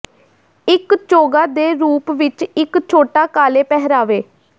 ਇੱਕ ਚੋਗਾ ਦੇ ਰੂਪ ਵਿੱਚ ਇੱਕ ਛੋਟਾ ਕਾਲੇ ਪਹਿਰਾਵੇ